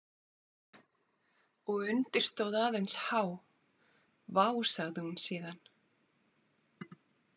Og undir stóð aðeins H Vá, sagði hún síðan.